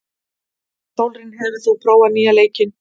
Sólrún, hefur þú prófað nýja leikinn?